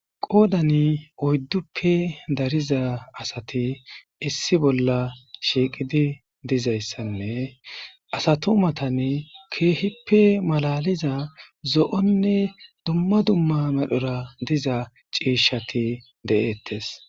Qoodani oydduppe dariza asati issi bolla shiiqidi dizayssanne asa tumatan keehippe malaliza zo'onne dumma dumma medhora diza ciishati de'eettes.